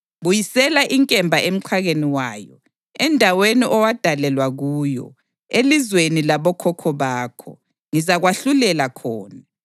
Buyisela inkemba emxhakeni wayo. Endaweni owadalelwa kuyo, elizweni labokhokho bakho, ngizakwahlulela khona.